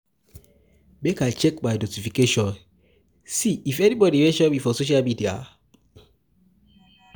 Make I check my notifications, see if anybodi mention me for social media.